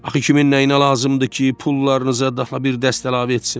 Axı kimin nəyinə lazımdır ki, pullarınıza dəfə bir dəst əlavə etsin?